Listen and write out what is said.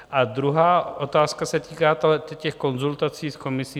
A druhá otázka se týká těch konzultací s Komisí.